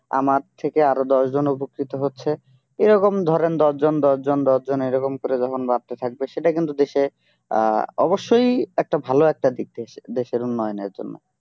আমার থেকে আর দশজন উপকৃত হচ্ছে এই রকম ধরেন দশজন দশজন দশজন এরকম করে যখন বাড়তে থাকবে সেটা কিন্তু দেশে আহ অবশ্যই একটা ভালো একটা দিক দেশে দেশের উন্নয়নের জন্য